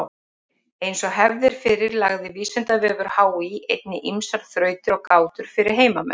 Eins og hefð er fyrir lagði Vísindavefur HÍ einnig ýmsar þrautir og gátur fyrir heimamenn.